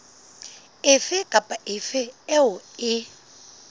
efe kapa efe eo e